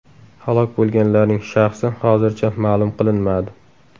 Halok bo‘lganlarning shaxsi hozircha ma’lum qilinmadi.